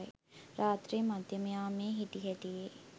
රාත්‍රී මධ්‍යම යාමයේ හිටි හැටියේ